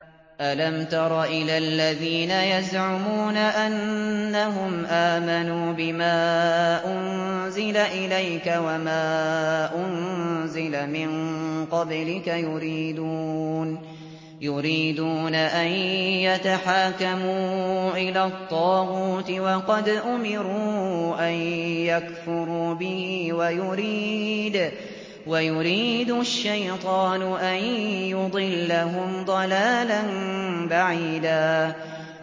أَلَمْ تَرَ إِلَى الَّذِينَ يَزْعُمُونَ أَنَّهُمْ آمَنُوا بِمَا أُنزِلَ إِلَيْكَ وَمَا أُنزِلَ مِن قَبْلِكَ يُرِيدُونَ أَن يَتَحَاكَمُوا إِلَى الطَّاغُوتِ وَقَدْ أُمِرُوا أَن يَكْفُرُوا بِهِ وَيُرِيدُ الشَّيْطَانُ أَن يُضِلَّهُمْ ضَلَالًا بَعِيدًا